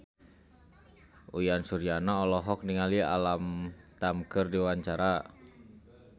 Uyan Suryana olohok ningali Alam Tam keur diwawancara